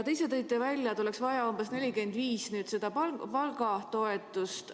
Te ise tõite välja, et oleks vaja umbes 45 miljonit eurot palgatoetust.